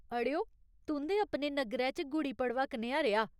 अड़ेओ, तुं'दे अपने नग्गरै च गुड़ी पड़वा कनेहा रेहा ?